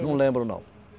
Não lembro não.